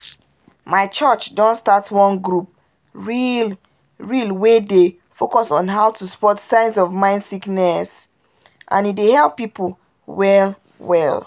my church don start one group real-real wey dey focus on how to spot signs of mind sickness and e dey heal people well-well